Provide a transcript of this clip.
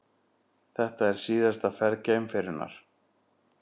Þetta er síðasta ferð geimferjunnar